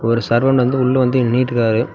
ஒரு சர்வண்டு வந்து உள்ள வந்து எண்ணிட்ருக்காரு.